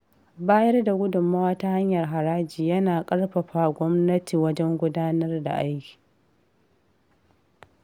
Bayar da gudummawa ta hanyar haraji yana ƙarfafa gwamnati wajen gudanar da aiki.